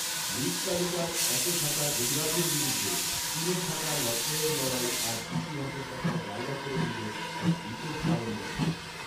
লীগ তালিকার একে থাকা গুজরাতের বিরুদ্ধে তিনে থাকা লক্ষ্ণঔর লড়াই আজ ইতিহাসের পাতায় জায়গা করে নিলো এক বিশেষ কারণবশত